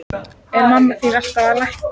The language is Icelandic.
Er mamma þín alltaf að lækna?